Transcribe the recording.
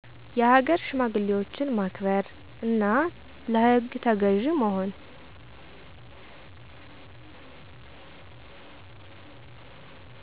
የሃገር ሽማግሌዎችን ማክበር፣ እና ለህግ ተገዥ መሆን።